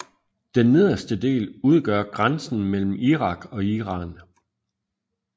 Den nederste del udgør grænsen mellem Irak og Iran